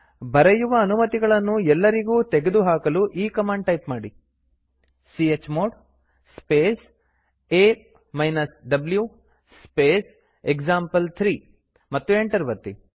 ಬರೆಯುವ ಅನುಮತಿಗಳನ್ನು ಎಲ್ಲರಿಗೂ ತೆಗೆದುಹಾಕಲು ಈ ಕಮಾಂಡ್ ಟೈಪ್ ಮಾಡಿ ಚ್ಮೋಡ್ ಸ್ಪೇಸ್ a ವ್ಯೂ ಸ್ಪೇಸ್ ಎಕ್ಸಾಂಪಲ್3 ಮತ್ತು ಎಂಟರ್ ಒತ್ತಿ